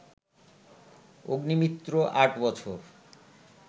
অগ্নিমিত্র আট বছর